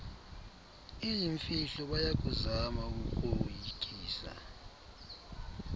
iyimfihlo bayakuzama ukukoyikisa